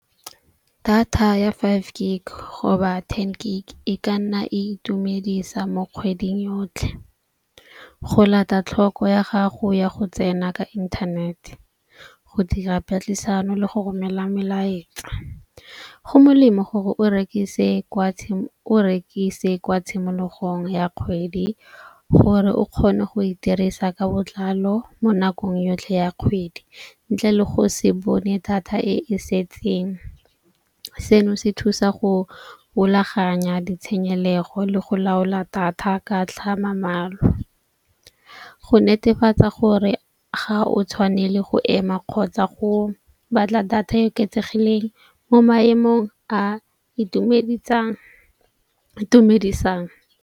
Data ya five gig hoba ten gig e ka nna e itumedisa mo kgweding yotlhe, go lata tlhoko ya gago ya go tsena ka internet. Go dira patlisano le go romela melaetsa. Go molemo gore o rekise kwa tshimologong ya kgwedi gore o kgone go e dirisa ka botlalo mo nakong yotlhe ya kgwedi, ntle le go se bone data e e setseng. Seno se thusa go rulaganya ditshenyego le go laola data ka . Go netefatsa gore ga o tshwanele go ema kgotsa go batla data e oketsegileng mo maemong a itumedisang .